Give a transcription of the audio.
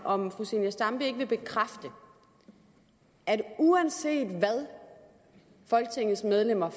om fru zenia stampe ikke vil bekræfte at uanset hvad folketingets medlemmer